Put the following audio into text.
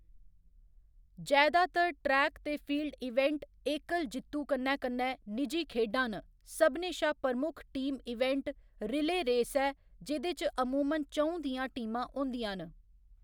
जैदातर ट्रैक ते field event एकल जित्तू कन्नै कन्नै निजी खेढां न, सभनें शा प्रमुख टीम इवेंट रिलेऽ रेस ऐ, जेह्‌दे च अमूमन च'ऊं दियां टीमां होंदियां न।